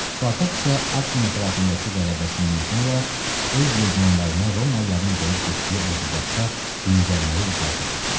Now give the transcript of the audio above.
Spartak isə Akvin ətrafındakı qələbəsindən sonra öz legionlarına Romalıların qoyub getdiyi ordugahda dincəlməyə icazə verdi.